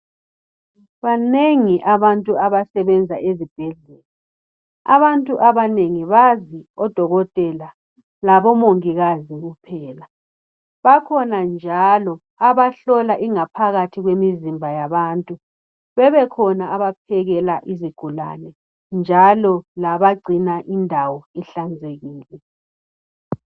banengi abantu abasebenza ezibhedlela, abantu abanengi bazi odokotela labo mongikazi kuphela. Bakhona njalo abahlola ingaphakathi kwemizimba yabantu, bebekhona abaphekela izigulane njalo labagcina indawo ihlanzekile.